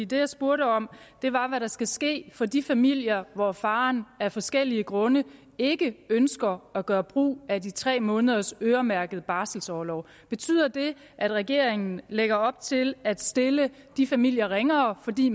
det jeg spurgte om var hvad der skal ske for de familier hvor faren af forskellige grunde ikke ønsker at gøre brug af de tre måneders øremærkede barselorlov betyder det at regeringen lægger op til at stille de familier ringere fordi